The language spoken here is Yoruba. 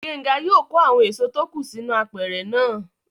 Gbénga yóò kó àwọn èso tó kù sínú apẹ̀rẹ̀ náà